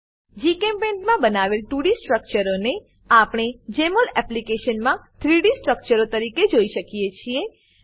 જીચેમ્પેઇન્ટ મા બનાવેલ 2ડી સ્ટ્રક્ચરોને આપણે જમોલ એપ્લિકેશન મા 3ડી સ્ટ્રક્ચરો તરીકે જોઈ શકીએ છીએ